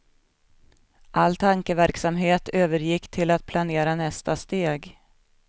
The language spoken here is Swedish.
All tankeverksamhet övergick till att planera nästa steg.